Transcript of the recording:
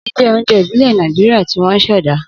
Ogi jẹ́ oúnjẹ ìbílẹ̀ Nàìjíríà tí wọ́n ṣẹ̀dá.